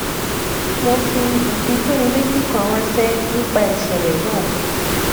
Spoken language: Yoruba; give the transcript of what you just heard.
mo fi ifitonileti kan ranṣẹ nípa ìṣẹlẹ náà